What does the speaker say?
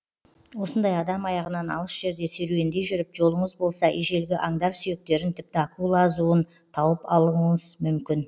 осындай адам аяғынан алыс жерде серуендей жүріп жолыңыз болса ежелгі аңдар сүйектерін тіпті акула азуын тауып алуыңыз мүмкін